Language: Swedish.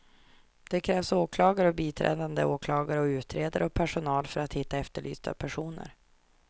Det krävs åklagare och biträdande åklagare och utredare och personal för att hitta efterlysta personer.